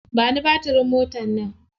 Ba ni batirin motar nan.